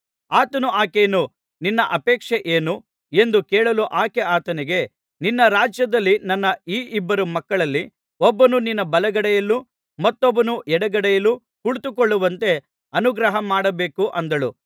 ಆತನು ಆಕೆಯನ್ನು ನಿನ್ನ ಅಪೇಕ್ಷೆ ಏನು ಎಂದು ಕೇಳಲು ಆಕೆ ಆತನಿಗೆ ನಿನ್ನ ರಾಜ್ಯದಲ್ಲಿ ನನ್ನ ಈ ಇಬ್ಬರು ಮಕ್ಕಳಲ್ಲಿ ಒಬ್ಬನು ನಿನ್ನ ಬಲಗಡೆಯಲ್ಲೂ ಮತ್ತೊಬ್ಬನು ಎಡಗಡೆಯಲ್ಲೂ ಕುಳಿತುಕೊಳ್ಳುವಂತೆ ಅನುಗ್ರಹ ಮಾಡಬೇಕು ಅಂದಳು